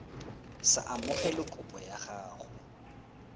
sa amogele kopo ya gago